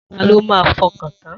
Ta ló máa fọkàn tan?